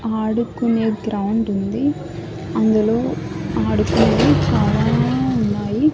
ఆడుకునే గ్రౌండ్ ఉంది అందులో ఆడుకునేవి చాలా ఉన్నాయి.